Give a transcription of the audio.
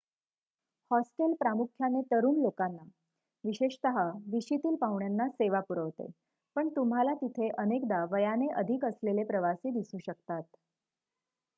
hostel प्रामुख्याने तरुण लोकांना विशेषतः विशीतील पाहुण्यांना सेवा पुरवते पण तुम्हाला तिथे अनेकदा वयाने अधिक असलेले प्रवासी दिसू शकतात